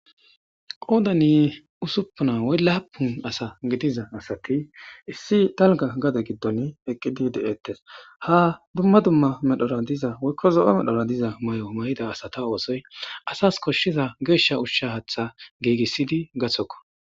qoodani usuppuna woy laapun asa gidiza asati issi talga gade giddon eqqidi de7ettes ha dumma dumma medhora diza woykko zo7o medhora diza may7o may7ida asa ta oosoy asas koshshiza geeshsha ushsha hatha giegissidi gathokko